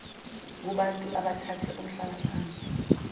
kubantu abathathe umhlalaphansi